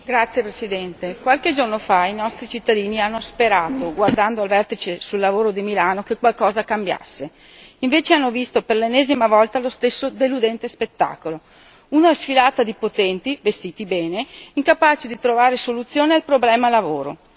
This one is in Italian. Signora Presidente, onorevoli colleghi, qualche giorno fa i nostri cittadini hanno sperato, guardando il Vertice sul lavoro di Milano, che qualcosa cambiasse. Invece hanno visto per l'ennesima volta lo stesso deludente spettacolo una sfilata di potenti, vestiti bene, incapaci di trovare soluzione al problema lavoro.